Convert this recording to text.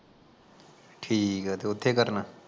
ਠੀਕ ਆ ਤੇ ਓਥੇ ਕੀ ਕਰਨ